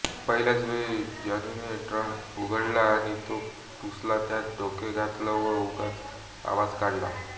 पहिल्याच वेळी जॉनीने ड्रम उघडला व तो पुसला त्यात डोके घातलं व उगाच आवाज काढला